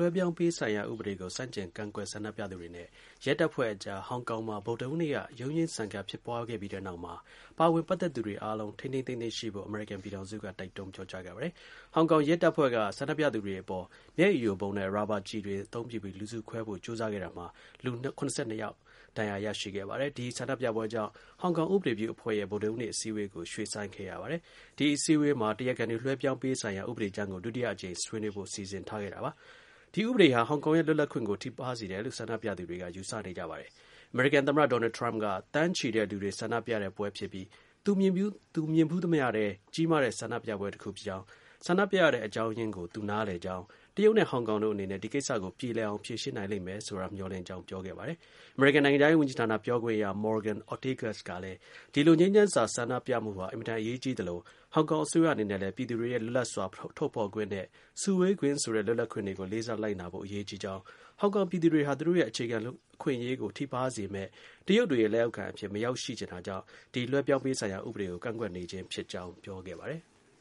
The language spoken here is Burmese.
ွှဲပြောင်းပေးဖို့ရေးဆိုင်ရာ ဥပဒေကို ဆန့်ကျင်ကန့်ကွက် ဆန္ဒပြသူတွေနဲ့ ရဲတပ်ဖွဲ့အကြား ဟောင်ကောင်မှာ ဗုဒ္ဒဟူးနေ့က ရုန်းရင်းဆန်ခတ် ဖြစ်ပွားခဲ့ပြီးတဲ့နောက် အမေရိကန် ပြည်ထောင်စုက ပါဝင်ပတ်သက်သူ အဖွဲ့တွေအားလုံး ထိန်းထိန်းသိမ်းသိမ်း ရှိဖို့ တိုက်တွန်းပြောကြားခဲ့ပါတယ်။ ဟောင်ကောင် ရဲတပ်ဖွဲ့က ဆန္ဒပြသူတွေ အပေါ် မျက်ရည်ယိုဗုံးနဲ့ရာဘာ ကျည်တွေ အသုံးပြုပြီး လူစုခွဲဖို့ ကြိုးစားခဲ့တာမှာ လူ ၇၂ ယောက် ဒဏ်ရာ ရရှိခဲ့ပါတယ်။ ဒီ ဆန္ဒပြပွဲကြောင့် ဟောင်ကောင် ဥပဒေပြုအဖွဲ့ရဲ့ဗုဒ္ဒဟူးနေ့ အစည်းအဝေးကို ရွှေ့ဆိုင်းခဲ့ရပါတယ်။ ဒီ အစည်းအဝေးမှာ အလိုရှိသူတွေ လွှဲပြောင်းပေးရေးဆိုင်ရာ ဥပဒေကြမ်းကို ဒုတိယအကြိမ် ဆွေးနွေးဖို့ စီစဉ်ထားခဲ့ပါတယ်။ ဒီ ဥပဒေဟာ ဟောင်ကောင်ရဲ့ လွတ်လပ်ခွင့်ကို ထိပါးစေတယ်လို့ ဆန္ဒပြသူတွေက ယူဆကြပါတယ်။ အမေရိကန်သမ္မတ ဒေါ်နယ်ထရမ့်က သန်းချီတဲ့ ဆန္ဒပြပွဲဖြစ်ပြီး သူမြင်ဖူးသမျှထဲ ကြီးမားတဲ့ ဆန္ဒပြပွဲကြီးတစ်ခုဖြစ်ကြောင်း၊ ဆန္ဒပြရတဲ့ အကြောင်းရင်းကို သူနားလည်ကြောင်း၊ တရုတ်နဲ့ ဟောင်ကောင်တို့ အနေနဲ့ဒီကိစ္စကို ပြေလည်အောင် ဖြေရှင်းနိုင်လိမ့်မယ်ဆိုတာ မျှော်လင့် ကြောင်း ပြောခဲ့ပါတယ်။ အမေရိကန်နိုင်ငံခြားရေး ဝန်ကြီးဌာန ပြောခွင့်ရ Morgan Ortagus ကလည်း ဒီ လို ငြိမ်းချမ်းစွာ ဆန္ဒပြမှုတွေဟာ အင်မတန် အရေးကြီးသလို ဟောင်ကောင် အစိုးရအနေနဲ့လည်း ပြည်သူတွေရဲ့ လွတ်လပ်စွာ ထုတ်ဖော်ခွင့်နဲ့ စုဝေခွင့် ဆိုတဲ့ လွတ်လပ်ခွင့်တွေကို လေးစား လိုက်နာဖို့ အရေးကြီးကြောင်း၊ ဟောင်ကောင်ပြည်သူတွေဟာ သူတို့ရဲ့ အခြေခံ အခွင့်အရေးကို ထိပါးစေမယ့် တရုတ်တွေရဲ့လက်အောက်ခံအဖြစ် မရောက်ရှိချင်တာကြောင့်ဒီ လွှဲပြောင်းပေးရေး ဆိုင်ရာ ဥပဒေကို ကန့်ကွက်နေခြင်းဖြစ်ကြောင်း ပြောခဲ့ပါတယ်။